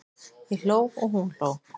Ég hló og hún hló.